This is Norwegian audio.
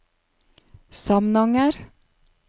Samnanger